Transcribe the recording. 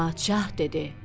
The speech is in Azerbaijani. Padşah dedi: